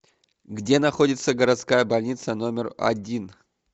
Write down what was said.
где находится городская больница номер один